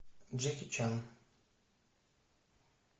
джеки чан